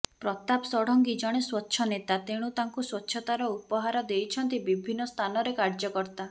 ପ୍ରତାପ ଷଡ଼ଙ୍ଗୀ ଜଣେ ସ୍ୱଚ୍ଛ ନେତା ତେଣୁ ତାଙ୍କୁ ସ୍ୱଚ୍ଛତାର ଉପହାର ଦେଇଛନ୍ତି ବିଭିର୍ଣ୍ଣ ସ୍ଥାନରେ କାର୍ଯ୍ୟକର୍ତ୍ତା